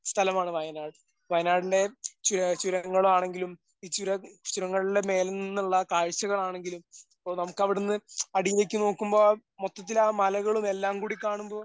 സ്ഥലമാണ് വയനാട്. വയനാടിന്റെ ചുര ചുരങ്ങളാണെങ്കിലും ഈ ചുര ചുരങ്ങളിലെ മേലെ നിന്നുള്ള കാഴ്ചകളാണെങ്കിലും ഓ നമുക്ക് അവിടെ നിന്ന് അടിയിലേക്ക് നോക്കുമ്പോൾ മൊത്തത്തിൽ ആ മലകളും എല്ലാംകൂടി കാണുമ്പോൾ